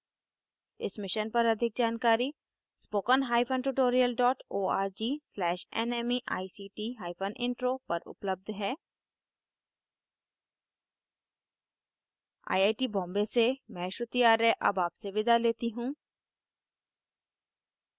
इस मिशन पर अधिक जानकारी